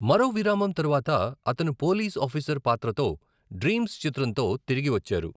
మరో విరామం తరువాత, అతను పోలీస్ ఆఫీసర్ పాత్రతో డ్రీమ్స్ చిత్రంతో తిరిగి వచ్చారు.